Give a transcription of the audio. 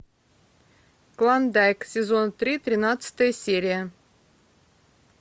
клондайк сезон три тринадцатая серия